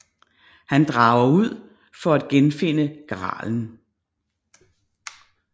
Han drager ud for at genfinde gralen